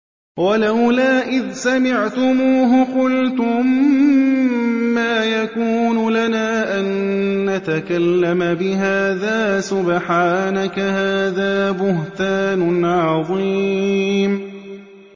وَلَوْلَا إِذْ سَمِعْتُمُوهُ قُلْتُم مَّا يَكُونُ لَنَا أَن نَّتَكَلَّمَ بِهَٰذَا سُبْحَانَكَ هَٰذَا بُهْتَانٌ عَظِيمٌ